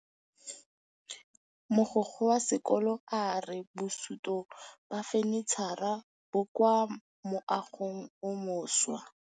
Mogokgo wa sekolo a re bosutô ba fanitšhara bo kwa moagong o mošwa.